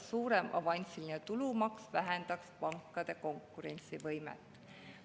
… suurem avansiline tulumaks vähendaks pankade konkurentsivõimet.